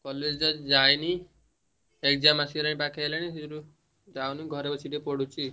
College ତ ଯାଇନି exam ଆସିଗଲାଣି ପାଖେଇଲାଣି ସେଇଯୋଗୁରୁ ଯାଉନି ଘରେ ବସି ପଢୁଛି ଆଉ।